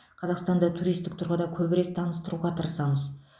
қазақстанды туристік тұрғыда көбірек таныстыруға тырысамыз